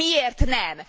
Miért nem?